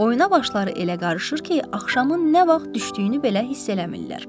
Oyuna başları elə qarışır ki, axşamın nə vaxt düşdüyünü belə hiss eləmirlər.